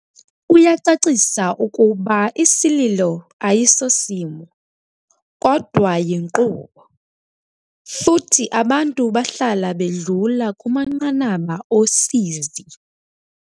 Uyacacisa ukuba isililo ayisosimo, kodwa yinkqubo, futhi abantu bahlala bedlula kumanqanaba osizi.